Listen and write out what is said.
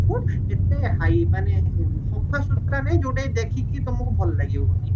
ଏତେ ହାଇ ମାନେ ସଫାସୁତୁରା ନଇ ଯୋଉଟା କି ଦେଖିକି ତମକୁ ଭଲ ଲାଗିବନି